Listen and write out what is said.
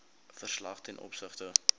verslag ten opsigte